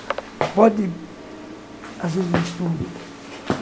Pode, às vezes, mistura.